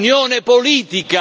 Questa è una grande sfida.